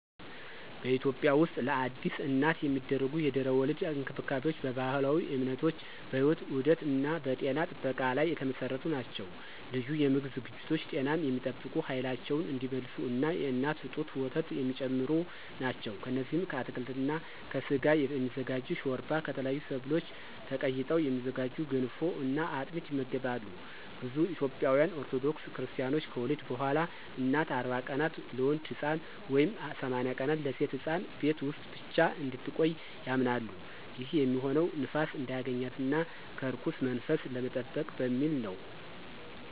በኢትዮጵያ ውስጥለአዲስ እናት የሚደረጉ የድህረ-ወሊድ እንክብካቤዎች በባህላዊ እምነቶች፣ በሕይወት ዑደት እና በጤና ጥበቃ ላይ የተመሰረቱ ናቸው። ልዩ የምግብ ዝግጅቶች ጤናን የሚጠብቁ፣ ኃይላቸውን እንዲመልሱ እና የእናት ጡት ወተት የሚጨምሩ ናቸው። እነዚህም ከአትክልት እና ከስጋ የሚዘጋጅ ሾርባ፣ ከተለያዩ ሰብሎች ተቀይጠው የሚዘጋጁ ገንፎ እና አጥሚት ይመገባሉ። ብዙ ኢትዮጵያውያን ኦርቶዶክስ ክርስታኖች ከወሊድ በኋላ እናት 40 ቀናት (ለወንድ ሕፃን) ወይም 80 ቀናት (ለሴት ሕፃን) ቤት ውስጥ ብቻ እንድትቆይ ያምናሉ። ይህም የሚሆነው ንፋስ እንዳያገኛት እና ከርኩስ መንፈስ ለመጠበቅ በሚል ነው።